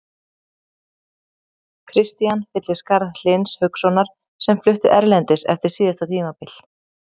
Kristian fyllir skarð Hlyns Haukssonar sem flutti erlendis eftir síðasta tímabil.